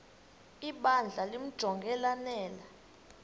ibandla limjonge lanele